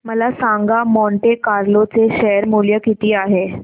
मला सांगा Monte Carlo चे शेअर मूल्य किती आहे